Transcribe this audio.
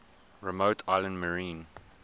remote islands marine